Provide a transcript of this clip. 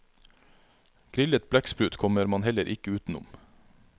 Grillet blekksprut kommer man hellet ikke utenom.